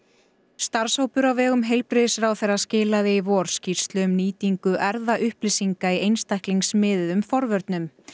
starfshópur á vegum heilbrigðisráðherra skilaði í vor skýrslu um nýtingu erfðaupplýsinga í einstaklingsmiðuðum forvörnum